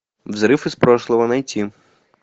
взрыв из прошлого найти